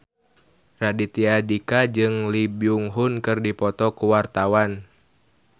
Raditya Dika jeung Lee Byung Hun keur dipoto ku wartawan